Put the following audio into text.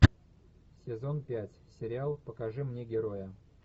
сезон пять сериал покажи мне героя